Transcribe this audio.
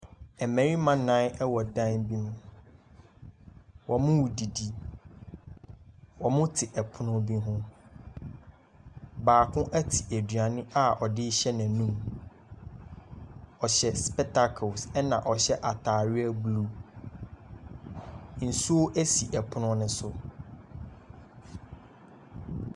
Ɛmbɛrima nan ɛwɔ ɛdan bi mu. Ɔmo didi, ɔmo te ɛpono bi ho. Baako ate eduane a ɔde hyɛ n'enum. Ɔhyɛ spɛtakels ɛna ɔhyɛ ataareɛ blu. Nsuo esi ɔpono ne so.